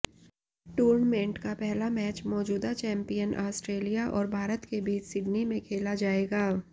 tournament का पहला match मौजूदा चैंपियन आस्ट्रेलिया और भारत के बीच सिडनी में खेला जाएगा